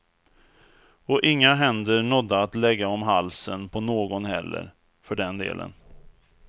Och inga händer nådde att lägga om halsen på någon heller, för den delen.